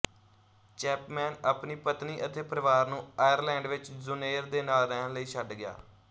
Chapman ਆਪਣੀ ਪਤਨੀ ਅਤੇ ਪਰਿਵਾਰ ਨੂੰ ਆਇਰਲੈਂਡ ਵਿੱਚ ਜੁਨੇਰ ਦੇ ਨਾਲ ਰਹਿਣ ਲਈ ਛੱਡ ਗਿਆ